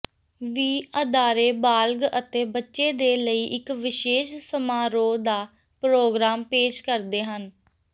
ਵੀ ਅਦਾਰੇ ਬਾਲਗ ਅਤੇ ਬੱਚੇ ਦੇ ਲਈ ਇੱਕ ਵਿਸ਼ੇਸ਼ ਸਮਾਰੋਹ ਦਾ ਪ੍ਰੋਗਰਾਮ ਪੇਸ਼ ਕਰਦੇ ਹਨ